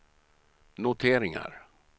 noteringar